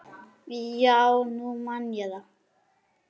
Já, nú man ég það.